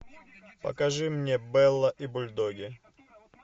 покажи мне белла и бульдоги